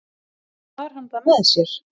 og ekki bar hann það með sér